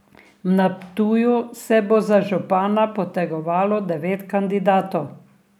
Na Ptuju se bo za župana potegovalo devet kandidatov.